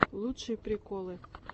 лучшие приколы